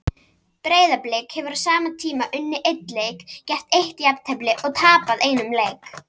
Breiðablik hefur á sama tíma unnið einn leik, gert eitt jafntefli og tapað einum leik.